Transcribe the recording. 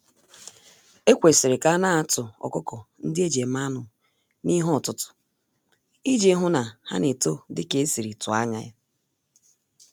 Ekwesịrị ka anatụ ọkụkọ-ndị-eji-eme-anụ n'ihe-ọtụtụ, iji hụ na ha N'eto dika esiri tụọ ányá ya.